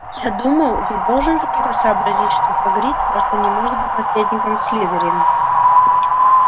я думал ведь должен же кто-то сообразить что хагрид просто не может быть наследником слизерина